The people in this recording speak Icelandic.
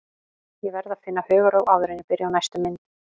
Ég verð að finna hugarró áður en ég byrja á næstu mynd.